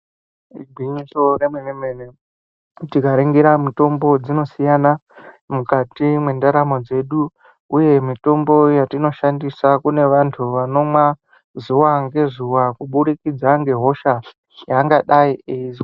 Igwinyiso remene-mene tikaringira mitombo dzinosiyana mukati mwendaramo dzedu, uye mitombo yatinoshandisa kune vantu vanomwa zuva ngezuva kubudikidza ngehosha yaangadai eizwa.